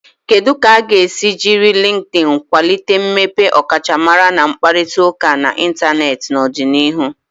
Kedu ka a ga-esi jiri Likidin kwalite mmepe ọkachamara na ịkparịta ụka n'Ịntanet n'ọdịnihu?